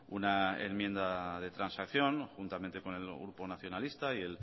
una enmienda de transacción juntamente con el grupo nacionalista y